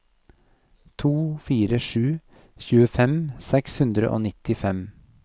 to fire sju en tjuefem seks hundre og nittifem